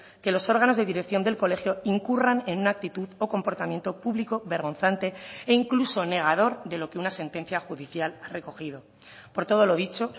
que los órganos de dirección del colegio incurran en una actitud o comportamiento público vergonzante e incluso negador de lo que una sentencia judicial ha recogido por todo lo dicho